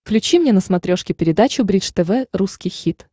включи мне на смотрешке передачу бридж тв русский хит